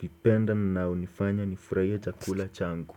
vipenda na unifanya nifuraie kula changu.